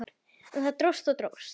En það dróst og dróst.